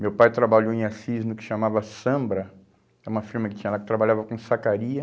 Meu pai trabalhou em Assis no que chamava Sambra, que é uma firma que tinha lá, que trabalhava com sacaria.